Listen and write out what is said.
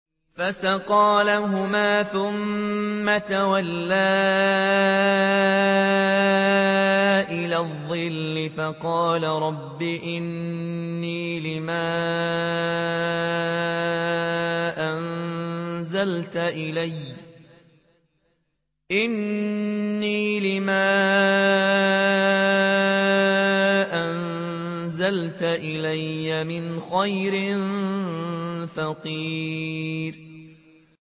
فَسَقَىٰ لَهُمَا ثُمَّ تَوَلَّىٰ إِلَى الظِّلِّ فَقَالَ رَبِّ إِنِّي لِمَا أَنزَلْتَ إِلَيَّ مِنْ خَيْرٍ فَقِيرٌ